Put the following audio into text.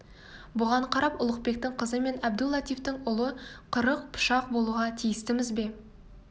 бұған қарап ұлықбектің қызы мен әбду-латифтың ұлы қырық пышақ болуға тиістіміз бе